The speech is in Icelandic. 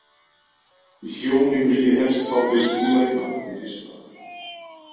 Hjónin vilji helst fá þau Skúla í mat hið fyrsta.